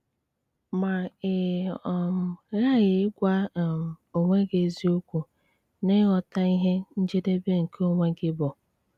Ma ị um ghaghị ịgwa um onwe gị eziokwu n'ịghọta ihe njedebe nke onwe gị bụ!